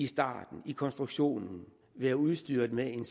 starten i konstruktionen være udstyret med en